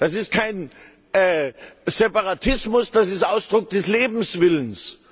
Das ist kein Separatismus, das ist Ausdruck des Lebenswillens!